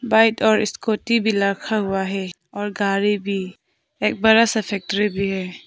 Bike और scooty भी रखा हुआ है और गाड़ी भी एक बड़ा सा फैक्ट्री भी है।